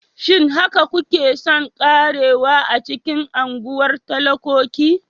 Shin haka kuke son ƙarewa a cikin unguwar talakoki?